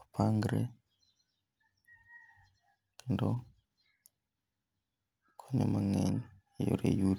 opangre kendo okonyo mang'eny e yore yuto